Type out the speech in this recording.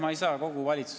Aitäh!